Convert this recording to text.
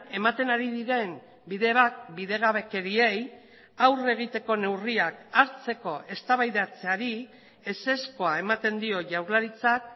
ematen ari diren bide bat bidegabekeriei aurre egiteko neurriak hartzeko eztabaidatzeari ezezkoa ematen dio jaurlaritzak